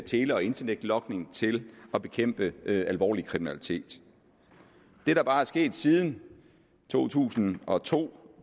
tele og internetlogning til at bekæmpe alvorlig kriminalitet det der bare er sket siden to tusind og to